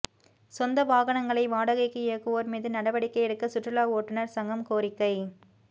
சொந்த வாகனங்களை வாடகைக்கு இயக்குவோா் மீது நடவடிக்கை எடுக்க சுற்றுலா ஓட்டுனா் சங்கம் கோரிக்கை